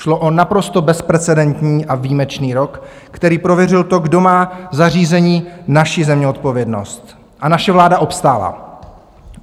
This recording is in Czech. Šlo o naprosto bezprecedentní a výjimečný rok, který prověřil to, kdo má za řízení naší země odpovědnost, a naše vláda obstála.